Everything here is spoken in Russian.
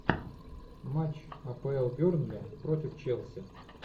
матч апл бернли против челси